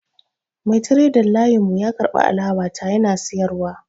Mai tiredar layin mu ya karbi alawa ta yana siyarwa